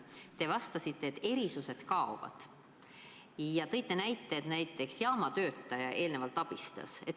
Te vastasite, et erandid kaovad ja tõite näite, et näiteks jaamatöötaja eelnevalt abistas.